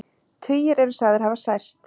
Tugir eru sagðir hafa særst